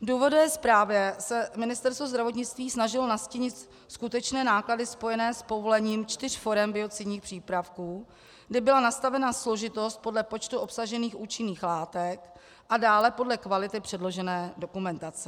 V důvodové zprávě se Ministerstvo zdravotnictví snažilo nastínit skutečné náklady spojené s povolením čtyř forem biocidních přípravků, kdy byla nastavena složitost podle počtu obsažených účinných látek a dále podle kvality předložené dokumentace.